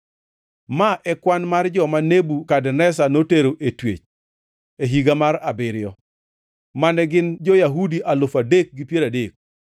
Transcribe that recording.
Ma e kwan mar joma Nebukadneza notero e twech: e higa mar abiriyo, mane gin jo-Yahudi alufu adek gi piero adek;